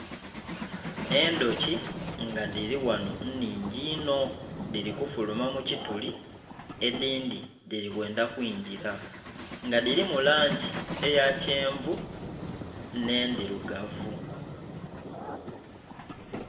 Endhuki nga dhiriwano nnhingi inho dhiri kufuluma mukituli edhindhi dhiri kwendha kwigira nga dhirimu langi eyakyenvu n'ndhirugavu.